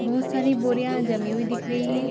बहुत सारी बोरियां जमी हुई दिख रही हैं।